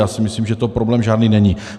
Já si myslím, že to problém žádný není.